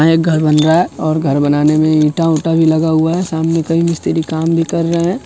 यहाँ एक घर बन रहा है और घर बनाने में ईंटा-उटा भी लगा हुआ है| सामने कई मिस्त्री काम भी कर रहा है।